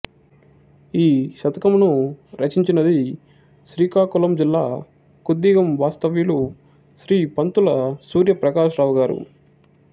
ఈ శతకమును రచించినది శ్రీకాకులం జిల్లా కుద్దిగం వాస్తవ్యులు శ్రీ పంతుల సూర్య ప్రకాశరావు గారు